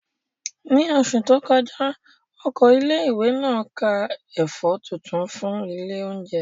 Ní oṣù tó kọjá, Oko ilé ìwé náà ká ẹ̀fọ́ tuntun fún ilé oúnjẹ